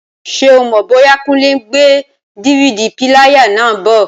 Ṣé o mọ̀ bóyá Kúnlé n gbé DVD píléyà náà bọ̀?